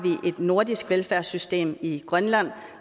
nordisk velfærdssystem i grønland